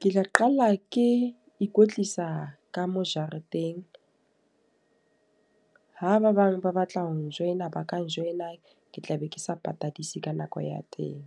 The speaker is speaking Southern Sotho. Ke tla qala ke ikwetlisa ka mo jareteng. Ha ba bang ba batla ho n-joiner ba ka join-a, ke tla be ke sa patadise ka nako ya teng.